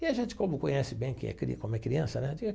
E a gente, como conhece bem, que é cri como é criança, né?